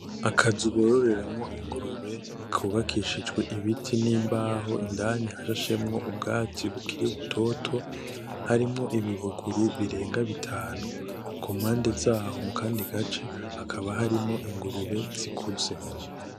Aka nzu borororeramwo ingurube kubakishijwe ibiti n'imbaho, indani hashashemwo ubwatsi bukiri butoto harimwo ibi bunguru birega bitanu kumpande zaho mukandi gace hakaba harimwo ingurube zikuze.